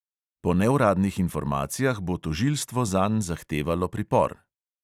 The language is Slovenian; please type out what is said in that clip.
Po neuradnih informacijah bo tožilstvo zanj zahtevalo pripor.